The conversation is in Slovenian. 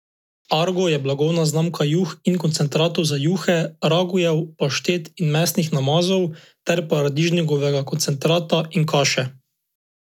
Argo je blagovna znamka juh in koncentratov za juhe, ragujev, paštet in mesnih namazov ter paradižnikovega koncentrata in kaše.